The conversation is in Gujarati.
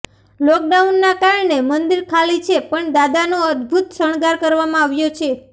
લોકડાઉનના કારણે મંદિર ખાલી છે પણ દાદાનો અદ્ભૂત શણગાર કરવામાં આવ્યો છે